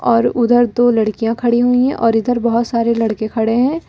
और उधर दो लड़कियाँ खड़ी हुई हैं और इधर बहुत सारे लड़के खड़े हैं।